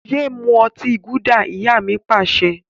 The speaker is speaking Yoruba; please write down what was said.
Yé mú ọtí gúdà! Ìyá mi Pàṣẹ.